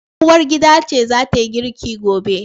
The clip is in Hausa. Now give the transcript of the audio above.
Uwargida ce zatayi girki gobe